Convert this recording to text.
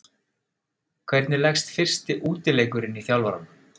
Hvernig leggst fyrsti útileikurinn í þjálfarann?